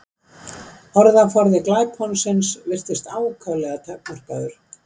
Orðaforði glæponsins virtist ákaflega takmarkaður.